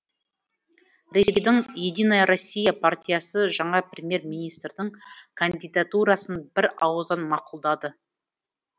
ресейдің единая россия партиясы жаңа премьер министрдің кандидатурасын бір ауыздан мақұлдады